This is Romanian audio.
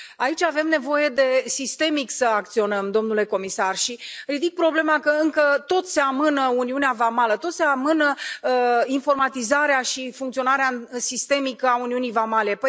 Aici avem nevoie sistemic să acționăm, domnule comisar, și ridic problema că încă tot se amână uniunea vamală, tot se amână informatizarea și funcționarea sistemică a uniunii vamale.